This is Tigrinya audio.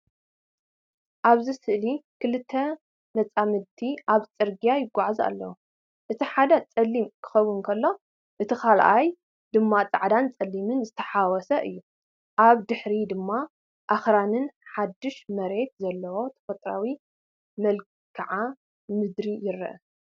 ኣብዚ ስእሊ ክልተ መጻምድቲ ኣብ ጽርግያ ይጓዓዙ ኣለዉ። እቲ ሓደ ጸሊም ክኸውን ከሎ፡ እቲ ካልኣይ ድማ ጻዕዳን ጸሊምን ዝተሓዋወሰ እዩ። ኣብ ድሕሪት ድማ ኣኽራንን ሓድሽ መሬትን ዘለዎ ተፈጥሮኣዊ መልክዓ ምድሪ ይርአ።